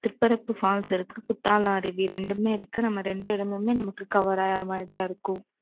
Thirparappu falls Kuttalam அருவி இரண்டுமே இருக்கு. நம்ம இரண்டு இடமுமே நமக்கு cover ஆகற மாதிரிதான் இருக்கும்.